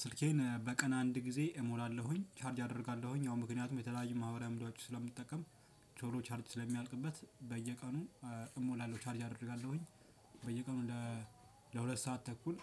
ስልኬን በቀን አንድ ጊዜ እሞላለሁኝ ቻርጅ አደርጋለሁኝ ያው ምክንያቱም የተለያዩ ማህበራዊ ሚዲያዎችን ስለምጠቀም ቶሎ ቻርጅ ስለሚያልቅበት በየቀኑ እሞላለሁ ቻርጅ አደርጋለሁኝ። በየቀኑ ለሁለት ሰዓት ተኩል